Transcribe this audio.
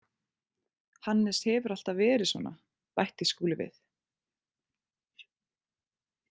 Hannes hefur alltaf verið svona, bætti Skúli við.